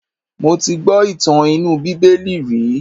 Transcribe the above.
Mo ti gbọ́ ìtàn inú bíbélì rí.